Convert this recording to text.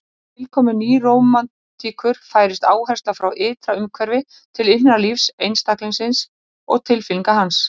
Með tilkomu nýrómantíkur færist áherslan frá ytra umhverfi til innra lífs einstaklingsins og tilfinninga hans.